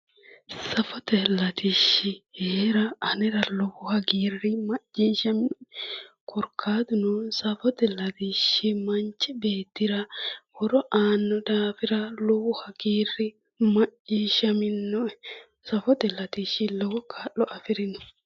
Safote latishshi heera ane lowo hagiiri macciishshaminoe koraatuno safote latishshi manchi beettira horo aano daafira lowo hagiiri macciishshaminoe safote latishshi lowo kaa'lo afirino.